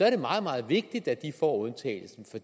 er meget meget vigtigt at de får undtagelsen